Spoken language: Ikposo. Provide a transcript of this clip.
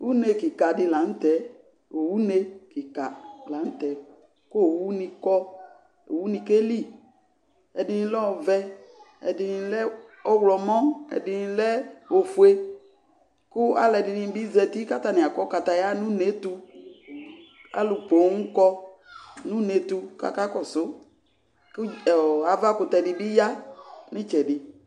Une kika di lan'tɛ, owu nye kika lan'tɛ, k'owuni kɔ, owuni keli Ɛdini lɛ ɔvɛ, ɛdini lɛ ɔɣlɔmɔ, ɛdini lɛ ofue, kʋ alʋɛdini bi zati k'atani akɔ kataye n'ʋnetʋ Alʋ pooom kɔ n'unetʋ k'aka kɔsʋ k ɔɔ avakʋtɛ di bi ya n'itsɛdi